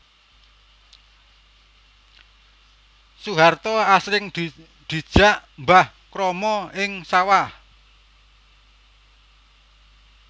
Soeharto asring dijak Mbah Kromo ing sawah